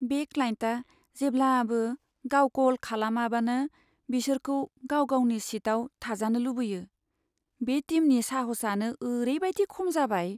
बे क्लाइन्टआ जेब्लाबो गाव कल खालामबानो बिसोरखौ गाव गावनि सिटआव थाजानो लुबैयो, बे टिमनि साहसआनो ओरैबायदि खम जाबाय।